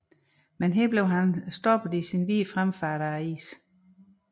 Men her blev han standset i sin videre fremfart af isen